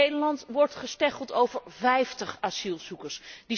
In Nederland wordt gestecheld over vijftig asielzoekers.